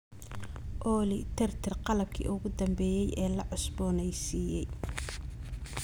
olly tirtir qalabkii ugu dambeeyay ee la cusboonaysiiyay